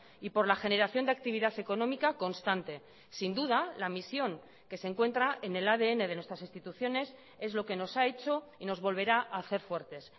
y por la generación de actividad económica constante sin duda la misión que se encuentra en el adn de nuestras instituciones es lo que nos ha hecho y nos volverá a hacer fuertes